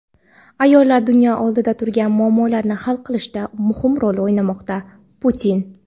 Ayollar dunyo oldida turgan muammolarni hal qilishda muhim rol o‘ynamoqda – Putin.